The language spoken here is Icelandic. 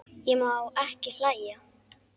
Ég má ekki hlæja.